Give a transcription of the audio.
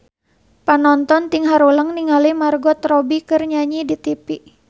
Panonton ting haruleng ningali Margot Robbie keur nyanyi di tipi